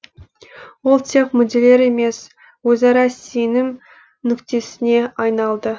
ол тек мүдделер емес өзара сенім нүктесіне айналды